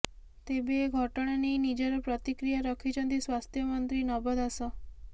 ତେବେ ଏ ଘଟଣା ନେଇ ନିଜର ପ୍ରତିକ୍ରିୟା ରଖିଛନ୍ତି ସ୍ୱାସ୍ଥ୍ୟ ମନ୍ତ୍ରୀ ନବ ଦାସ